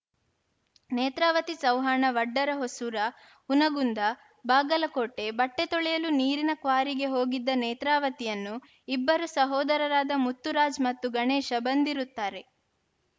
ನೇತ್ರಾವತಿ ಚವ್ಹಾಣ ವಡ್ಡರ ಹೊಸೂರ ಹುನಗುಂದ ಬಾಗಲಕೋಟೆ ಬಟ್ಟೆತೊಳೆಯಲು ನೀರಿನ ಕ್ವಾರಿಗೆ ಹೋಗಿದ್ದ ನೇತ್ರಾವತಿಯನ್ನು ಇಬ್ಬರು ಸಹೋದರರಾದ ಮುತ್ತುರಾಜ್‌ ಮತ್ತು ಗಣೇಶ ಬಂದಿರುತ್ತಾರೆ